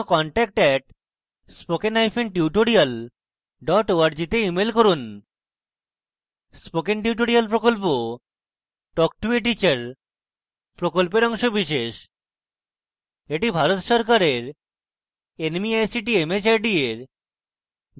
বিস্তারিত তথ্যের জন্য contact @spokentutorial org তে ইমেল করুন spoken tutorial প্রকল্প talk to a teacher প্রকল্পের অংশবিশেষ এটি ভারত সরকারের nmeict mhrd for জাতীয় শিক্ষা মিশন দ্বারা সমর্থিত